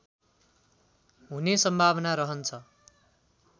हुने सम्भावना रहन्छ